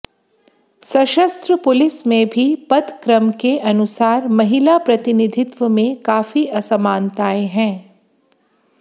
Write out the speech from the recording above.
सशस्त्र पुलिस में भी पद क्रम के अनुसार महिला प्रतिनिधित्व में काफी असमानताएं हैं